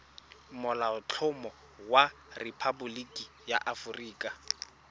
molaotlhomo wa rephaboliki ya aforika